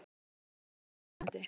Þetta gæti orðið spennandi!